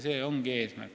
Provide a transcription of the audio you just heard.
See ongi eesmärk.